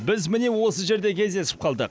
біз міне осы жерде кездесіп қалдық